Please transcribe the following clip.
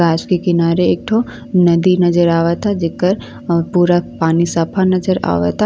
गांछ के किनारे एक ठो नदी नजर आवता जेकर अ पानी पूरा सफ्फा नजर आवता।